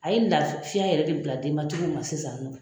A ye la fiya yɛrɛ de bila denmatigiw ma sisan ni nɔ